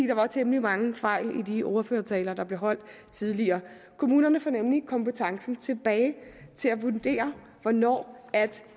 der var temmelig mange fejl i de ordførertaler der blev holdt tidligere kommunerne får nemlig kompetencen tilbage til at vurdere hvornår